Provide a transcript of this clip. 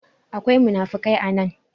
akwai munafikai a nan